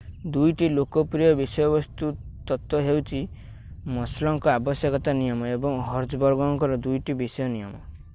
2ଟି ଲୋକପ୍ରିୟ ବିଷୟବସ୍ତୁ ତତ୍ତ୍ୱ ହେଉଛି ମାସ୍ଲୋଙ୍କ ଆବଶ୍ୟକତା ନିୟମ ଏବଂ ହର୍ଜବର୍ଗଙ୍କର 2ଟି ବିଷୟ ନିୟମ